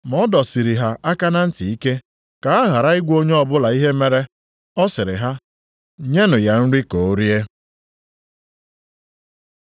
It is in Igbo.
Ma ọ dọsiri ha aka na ntị ike, ka ha ghara ịgwa onye ọbụla ihe mere. Ọ sịrị ha, “Nyenụ ya nri ka o rie.”